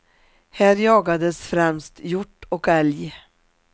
Här jagades främst hjort och älg.